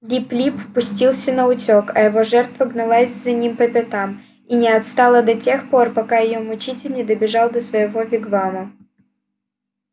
лип лип пустился наутёк а его жертва гналась за ним по пятам и не отстала до тех пор пока её мучитель не добежал до своего вигвама